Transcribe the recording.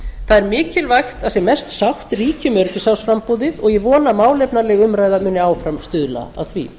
það er mikilvægt að sem mest sátt ríki um öryggisráðsframboðið og ég vona að málefnaleg umræða muni áfram stuðla að því